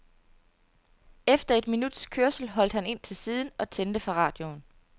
Efter et minuts kørsel holdt han ind til siden og tændte for radioen.